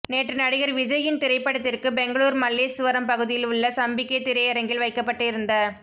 நேற்று நடிகர் விஜய் யின் திரைப்படத்திற்கு பெங்களூர் மல்லேசுவரம் பகுதியில் உள்ள சம்பிகே திரையரங்கில் வைக்கபட்டு இருந்த